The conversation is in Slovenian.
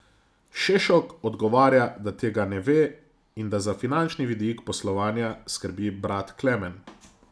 Šešok odgovarja, da tega ne ve in da za finančni vidik poslovanja skrbi brat Klemen.